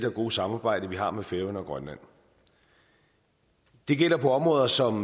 og gode samarbejde vi har med færøerne og grønland det gælder på områder som